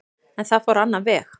En það fór á annan veg.